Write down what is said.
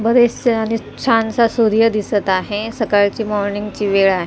मध्ये छानसा सूर्य दिसत आहे सकाळची मॉर्निंग ची वेळ आ--